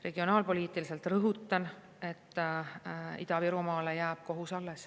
Regionaalpoliitiliselt, rõhutan, Ida-Virumaale jääb kohus alles.